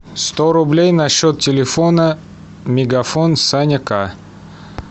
сто рублей на счет телефона мегафон саня ка